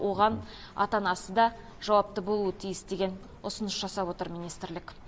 оған ата анасы да жауапты болуы тиіс деген ұсыныс жасап отыр министрлік